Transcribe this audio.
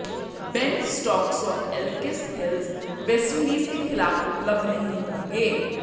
Ben Stokes और Alex Hales West Indies के खिलाफ उपलब्ध नहीं होंगे